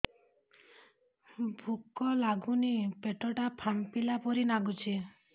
ଭୁକ ଲାଗୁନି ପେଟ ଟା ଫାମ୍ପିଲା ପରି ନାଗୁଚି